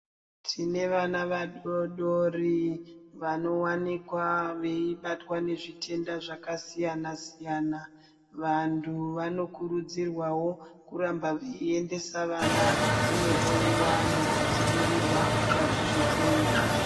Tine vana vadodori vanowanikwa veibatwa nezvitenda zvakasiyana -siyana. Vanthu vanokurudzirwawo kuramba veiendesa vana kunohloiwa nekudzivirirwa kubva kuzvitenda.